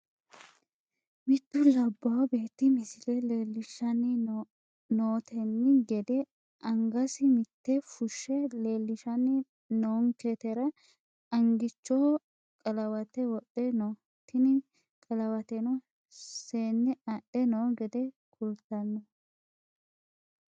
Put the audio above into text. Mittu labawo beeti misile leelishani noonteni gede angasi mitte fushe leelishani noonketera angichoho qalawate wodhe no tini qalawateno seene adhe noo gede kultano.